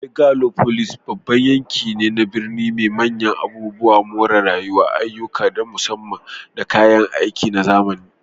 Megalopolis babban yanki ne na birni mai manyan abubuwan more rayuwa, ayyuka na musamman, da kayan aiki na zamani.